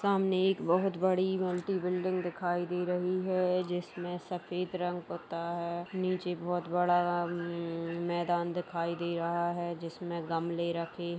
सामने एक बहोत बड़ी मल्टी बिल्डिंग दिखाई दे रही है जिसमें सफेद रंग पुता है। नीचे बहोत बड़ा मैदान दिखाई दे रहा है जिसमें गमले रखे --